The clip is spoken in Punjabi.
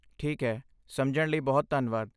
ਠੀਕ ਹੈ, ਸਮਝਣ ਲਈ ਬਹੁਤ ਧੰਨਵਾਦ।